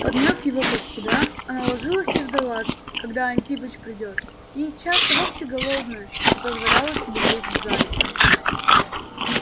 подмяв его под себя она ложилась и ждала когда антипыч придёт и часто вовсе голодная не позволяла себе есть зайца